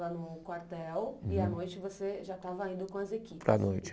Estava no quartel e à noite você já estava indo com as equipes. Para a noite.